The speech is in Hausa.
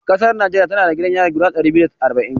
Ƙasar Najeriya tana da gidajen yari guda ɗari biyu da arba'in.